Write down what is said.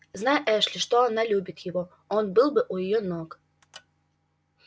знай эшли что она любит его он был бы у её ног